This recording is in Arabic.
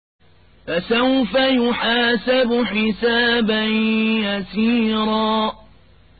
فَسَوْفَ يُحَاسَبُ حِسَابًا يَسِيرًا